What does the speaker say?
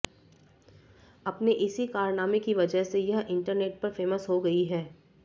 अपने इसी कारनामे की वजह से यह इंटरनेट पर फेमस हो गई है